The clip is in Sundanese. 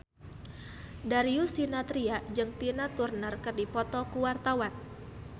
Darius Sinathrya jeung Tina Turner keur dipoto ku wartawan